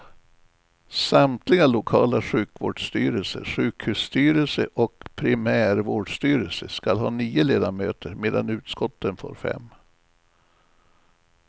Samtliga lokala sjukvårdsstyrelser, sjukhusstyrelse och primärvårdsstyrelse skall ha nio ledamöter, medan utskotten får fem.